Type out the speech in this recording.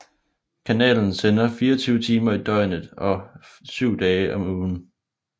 Kanalen sender 24 timer i døgnet og 7 dage om ugen